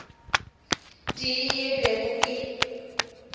tee yeo ke bego ke